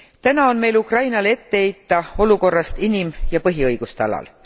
Täna on meil Ukrainale ette heita olukorda inim ja põhiõiguste alal.